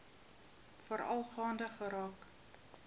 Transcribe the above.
veral gaande geraak